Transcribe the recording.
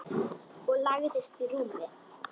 Og lagðist í rúmið.